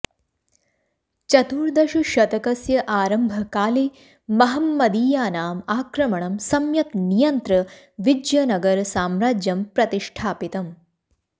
चतुर्दशशतकस्य आरम्भकाले महम्मदीयानाम् आक्रमणं सम्यक् नियन्त्र्य विज्यनगरसाम्राज्यं प्रतिष्ठपितम्